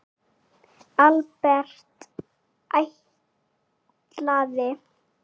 Albert: Ætlaði?